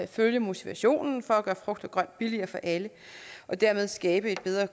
følge motivationen for at gøre frugt og grønt billigere for alle og dermed skabe en bedre